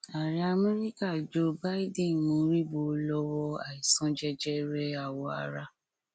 ààrẹ amẹríkà joe bidden mọríbó lọwọ àìsàn jẹjẹrẹ àwọ ara